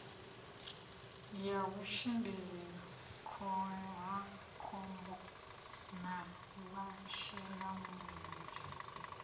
ya vhutshimbidzi khohakhombo na vhashelamulenzhe